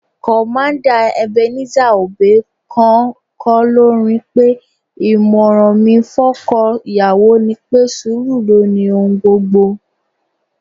Commander Ebenezer Obey gan-an kọ́ lórin pé: "ìmọ̀ràn mi fọ́kọ́ ìyàwó ni pé, sùúrù ló ni ohun gbogbo"